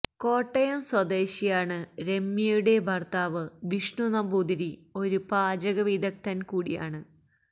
കോട്ടയം സ്വദേശിയാണ് രമ്യയുടെ ഭര്ത്താവ് വിഷ്ണുനമ്പൂതിരി ഒരു പാചക വിദഗ്ധന് കൂടിയാണ്